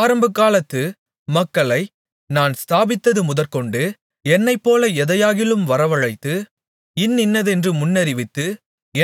ஆரம்பகாலத்து மக்களை நான் ஸ்தாபித்தது முதற்கொண்டு என்னைப்போல எதையாகிலும் வரவழைத்து இன்னின்னதென்று முன்னறிவித்து